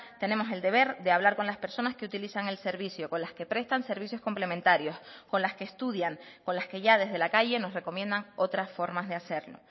tenemos el deber de hablar con las personas que utilizan el servicio con las que prestan servicios complementarios con las que estudian con las que ya desde la calle nos recomiendan otras formas de hacerlo